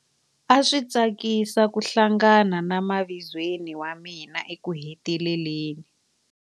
A swi tsakisa ku hlangana na mavizweni wa mina ekuheteleleni.